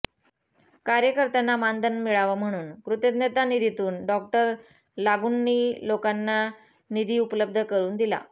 कार्यकर्त्यांना मानधन मिळावं म्हणून कुतज्ञता निधीतून डॉ लागूंनी लोकांना निधी उपलब्ध करुन दिला